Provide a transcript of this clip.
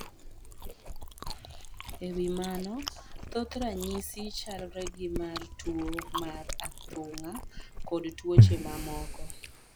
E wi mano, thoth ranyisi chalre gi mar tuwo mar athung'a kod tuoche mamoko.